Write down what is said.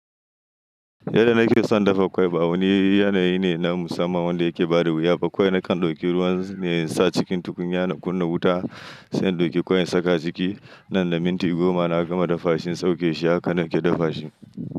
Yadda nake son dafa kwai ba wani yanayi ne na musamman wanda yake ba da wuya. Ba kwai na kan ɗauki ruwan ne in sa cikin tukunyana in kunna wuta, sai in ɗauki kwai in saka ciki. Nan da minti goma na gama dafa shi in sauke shi haka nake dafa shi.